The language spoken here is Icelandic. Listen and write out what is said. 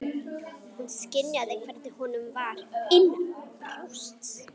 Hún skynjaði hvernig honum var innanbrjósts!